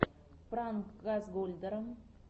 пранк газгольдера